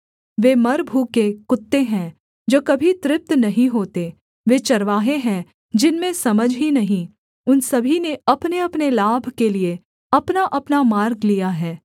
वे मरभूखे कुत्ते हैं जो कभी तृप्त नहीं होते वे चरवाहे हैं जिनमें समझ ही नहीं उन सभी ने अपनेअपने लाभ के लिये अपनाअपना मार्ग लिया है